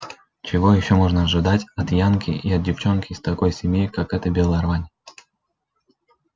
чего ещё можно ожидать от янки и от девчонки из такой семьи как эта белая рвань